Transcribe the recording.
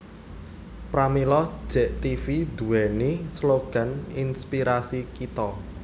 Pramila Jek Tv duwéni slogan Inspirasi Kito